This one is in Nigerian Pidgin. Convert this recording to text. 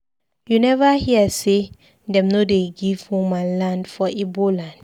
You neva hear sey dem no dey give woman land for Igbo land?